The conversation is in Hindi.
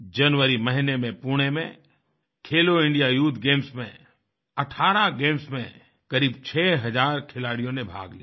जनवरी महीने में पुणे में खेलो इंडिया यूथ गेम्स में 18 गेम्स में करीब 6000 खिलाड़ियों ने भाग लिया